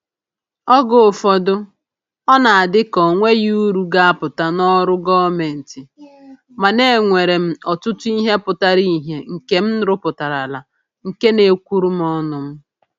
Oge ụfọdụ, ọ na-adị ka o nweghị uru ga-apụta n'ọrụ gọọmentị, mana e nwere m ọtụtụ ihe pụtara ihe nke m rụpụtarala nke na-ekwuru m ọnụ m